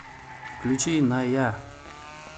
включи на я